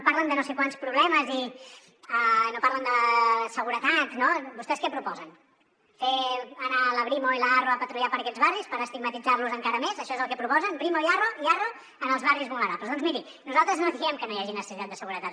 parlen de no sé quants problemes i no parlen de seguretat no vostès què proposen fer anar la brimo i l’arro a patrullar per aquests barris per estigmatitzar los encara més això és el que proposen brimo i arro en els barris vulnerables doncs miri nosaltres no diem que no hi hagi necessitat de seguretat